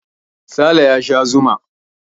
Sale ya sha zuma.